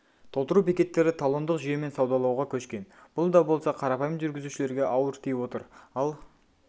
толтыру бекеттері талондық жүйемен саудалауға көшкен бұл да болса қарапайым жүргізушілерге ауыр тиіп отыр ал